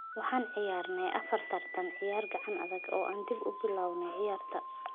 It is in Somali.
Waxaan ciyaarnay afar tartan ciyaar gacan adag oo aan dib ugu bilownay ciyaarta.